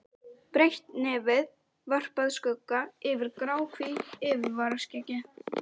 Breitt nefið varpaði skugga yfir gráhvítt yfirvaraskeggið.